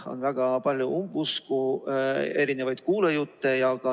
On väga palju umbusku ja kuulujutte.